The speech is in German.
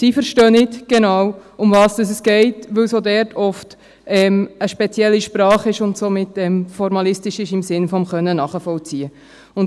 Sie verstehen nicht genau, worum es geht, weil es auch dort oft eine spezielle Sprache und somit formalistisch ist bezüglich des Nachvollziehenkönnens.